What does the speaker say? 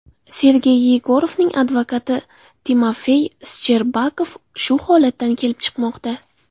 Sergey Yegorovning advokati Timofey Shcherbakov shu holatdan kelib chiqmoqda.